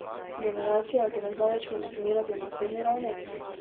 Generacija, ki ne zna več funkcionirati na osebni ravni?